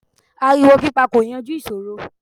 Ariwo pípa kò yanjú ìṣòro.